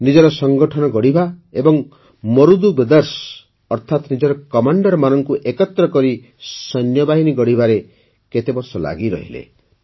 ନିଜର ସଂଗଠନ ଗଢ଼ିବା ଏବଂ ମରୁଦୁ ବ୍ରଦର୍ସ ଅର୍ଥାତ୍ ନିଜର କମାଣ୍ଡରମାନଙ୍କୁ ଏକତ୍ର କରି ସୈନ୍ୟବାହିନୀ ଗଢ଼ିବାରେ କେତେବର୍ଷ ଲାଗିରହିଲେ